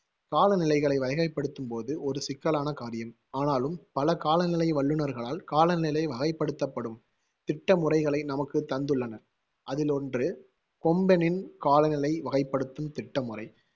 காலநிலைகளை வகைப்படுத்தும் போது ஒரு சிக்கலான காரியம். ஆனாலும் பல காலநிலை வள்ளுனர்களால் காலநிலை வகைப்படுத்தப்படும் திட்டமுறைகளை நமக்கு தந்துள்ளனர் அதிலொன்று கொம்பெனின் காலநிலை வகைப்படுத்தும் திட்டமுறை.